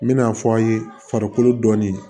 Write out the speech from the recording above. N bɛna fɔ aw ye farikolo dɔnni